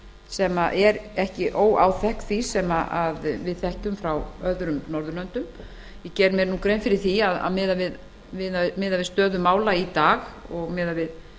sem er ekki óáþekk því sem við þekkjum frá öðrum norðurlöndum ég geri mér grein fyrir að miðað við stöðu mála í dag og miðað við